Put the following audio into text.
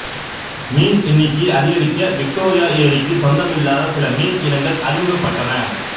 மீன் எண்ணிக்கையை அதிகரிக்க விக்டோரியா ஏரிக்கு சொந்தமில்லாத சில மீன் இனங்கள் அறிமுகப்பட்டன